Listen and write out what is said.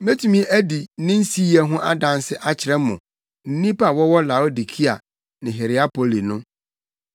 Metumi adi ne nsiyɛ ho adanse akyerɛ mo ne nnipa a wɔwɔ Laodikea ne Hierapoli no.